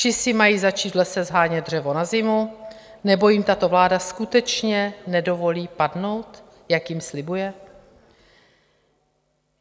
Či si mají začít v lese shánět dřevo na zimu, nebo jim tato vláda skutečně nedovolí padnout, jak jim slibuje?